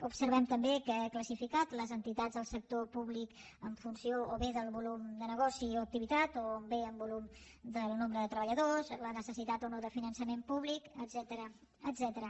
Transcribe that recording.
observem també que ha classificat les entitats del sector públic en funció o bé del volum de negoci o activitat o bé en volum del nombre de treballadors la necessitat o no de finançament públic etcètera